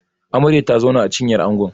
Amarya ta zauna a cinyar Ango